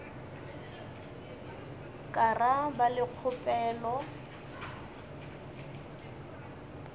ka ra ba le kgopelo